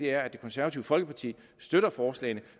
er at det konservative folkeparti støtter forslagene